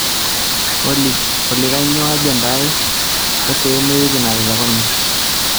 olly kainyoo ajenda aai e sehemu e wiki natelekunye